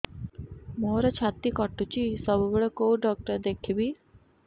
ମୋର ଛାତି କଟୁଛି ସବୁବେଳେ କୋଉ ଡକ୍ଟର ଦେଖେବି